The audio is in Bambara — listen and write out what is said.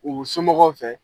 U somɔgɔw fɛ.